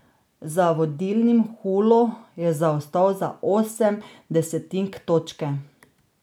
Za vodilnim Hulo je zaostal za osem desetink točke.